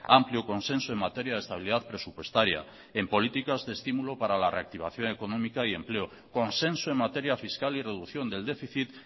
amplio consenso en materia de estabilidad presupuestaria en políticas de estímulo para la reactivación económica y empleo consenso en materia fiscal y reducción del déficit